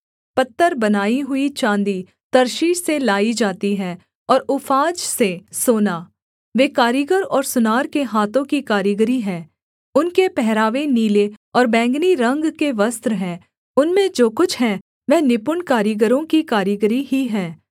पत्तर बनाई हुई चाँदी तर्शीश से लाई जाती है और ऊफाज से सोना वे कारीगर और सुनार के हाथों की कारीगरी हैं उनके पहरावे नीले और बैंगनी रंग के वस्त्र हैं उनमें जो कुछ है वह निपुण कारीगरों की कारीगरी ही है